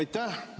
Aitäh!